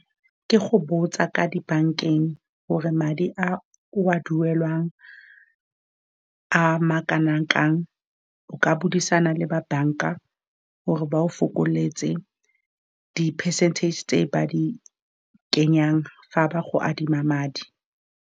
Ke go botsa kwa dibankeng gore madi a o a duelwang a makanang kang. O ka buisana le ba banka gore ba go fokoletse di-percentage tse ba di kenyang fa ba go adima madi.